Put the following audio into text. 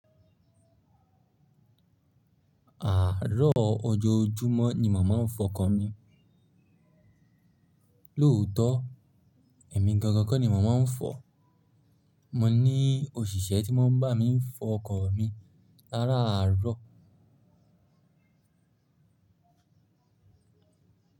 Àárọ̀ ojojúmọ́ ni mo màá ń fọkọ mi. Lóòótọ́, èmi gangan kọ́ ni mó mọ̀n fọ̀. Mo ní òṣìṣẹ́ tí mó ń bá mi fọ ọkọ̀ mi láràárọ̀.